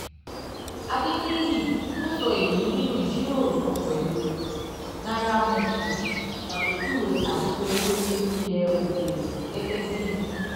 adeniyi tó sọ èyí nínú ìjíròrò kan pẹ̀lú nairametrics ṣàpèjúwe àìpé owó ilẹ̀ òkèèrè gẹ́gẹ́ bí